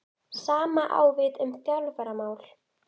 Sama á við um þjálfaramál?